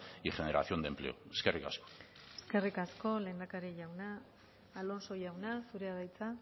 y generación de empleo eskerrik asko eskerrik asko lehendakari jauna alonso jauna zurea da hitza